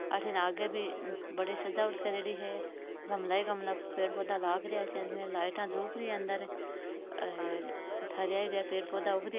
अठीने आगे भी बठे सजावट करेड़ी है गमला ही गमला पेड़ पौधा लाग रहा है चारो मेर लाईटा जुपरी ह र हरा हरा पेड़ पौधा उग रहा है।